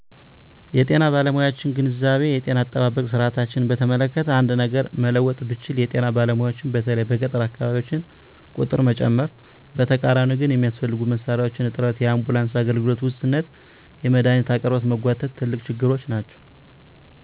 የጤና ባለሙያዎችን ግንዛቤ የጤና አጠባበቅ ስርዓታችንን በተመለከተ አንድ ነገር መለወጥ ብችል የጤና ባለሙያዎችን በተለይም በገጠር አካባቢዎች ቁጥር መጨመር። በተቃራኒው ግን የሚያስፈልጉ መሣሪያዎች እጥረት፣ የአምቡላንስ አገልግሎት ውስንነትና የመድሃኒት አቅርቦት መጓተት ትልቅ ችግሮች ናቸው።